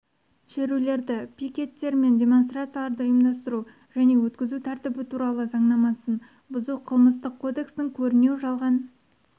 шерулерді пикеттер мен демонстрацияларды ұйымдастыру және өткізу тәртібі туралы заңнамасын бұзу қылмыстық кодекстің көрінеу жалған